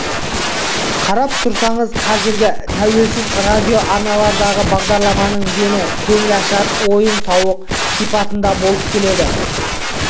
қарап тұрсаңыз қазіргі тәуелсіз радио арналардағы бағдарламалардың дені көңілашар ойын-сауық сипатында болып келеді